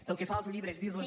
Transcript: pel que fa als llibres dir los